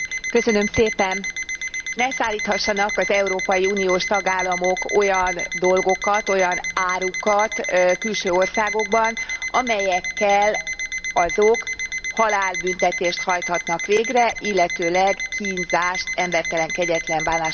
Ne szállíthassanak az Európai Uniós tagállamok olyan dolgokat, olyan árukat külső országokban, amelyekkel azok halálbüntetést hajthatnak végre, illetőleg kínzást, embertelen, kegyetlen bánásmódot valósíthatnak meg.